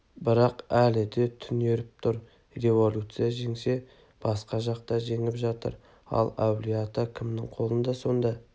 бірақ әлі де түнеріп тұрып революция жеңсе басқа жақта жеңіп жатыр ал әулие-ата кімнің қолында сонда